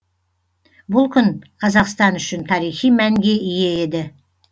бұл күн қазақстан үшін тарихи мәнге ие еді